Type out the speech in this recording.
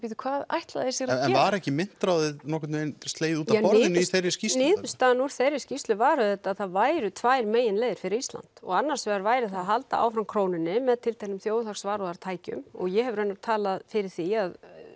bíddu hvað ætla þeir sér að gera en var ekki myntráðið nokkurn veginn slegið útaf borðinu í þeirri skýrslu niðurstaðan úr þeirri skýrslu var auðvitað að það væri tvær meginleiðir fyrir Ísland annars vegar væru það að halda áfram krónunni með tilteknum þjóðhagsvarúðartækjum og ég hef raunar talað fyrir því